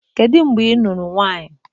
Kedu mgbe ị lụrụ nwaanyị?